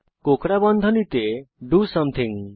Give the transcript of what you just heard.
কোঁকড়া বন্ধনীতে do something